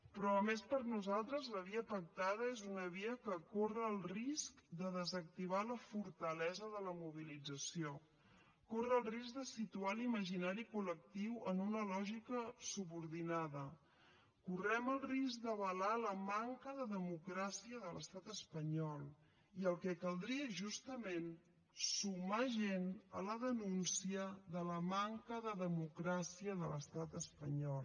però a més per nosaltres la via pactada és una via que corre el risc de desactivar la fortalesa de la mobilització corre el risc de situar l’imaginari col·lectiu en una lògica subordinada correm el risc d’avalar la manca de democràcia de l’estat espanyol i el que caldria és justament sumar gent a la denúncia de la manca de democràcia de l’estat espanyol